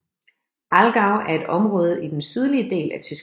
Allgäu er et område i den sydlige del af Tyskland